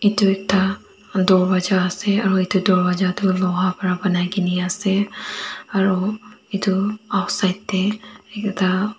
duita dorwaja asey aro etu dorwaja du loha para banaigine asey aro etu aoside deh ekta--